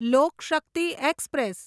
લોક Shakti express